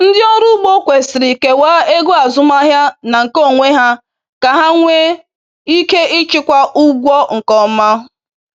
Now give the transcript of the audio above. Ndị ọrụ ugbo kwesịrị kewaa ego azụmahịa na nke onwe ha ka ha nwee ike ịchịkwa ụgwọ nke ọm